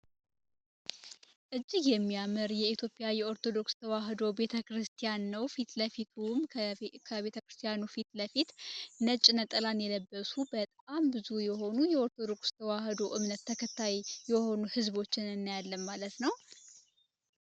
እጅግ የሚያምር የኢትዮያጵያ የኦርቶዶክስ ተዋህዶ ቤተክርስቲያ ነው ፊትለፊቱም ከቤተክርስቲያኑ ፊት ለፊት ነጭ ነጠላን የለበሱ በጣም ብዙ የሆኑ የኦርቶዶክስ ተዋህዶ እምነት ተከታይ የሆኑ ህዝቦችን እናያለን ማለት ነው።